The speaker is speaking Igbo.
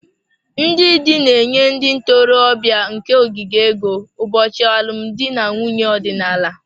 Ndị di na-enye ndị ntorobịa nke ogige ego ụbọchị alụmdi na nwunye ọdịnala